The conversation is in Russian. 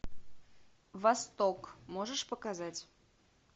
восток можешь показать